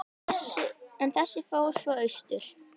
En þessi fór svo austur.